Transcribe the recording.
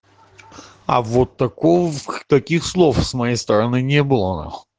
а вот такого таких таких слов с моей стороны не было на хуй